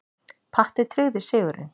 Patti tryggði sigurinn.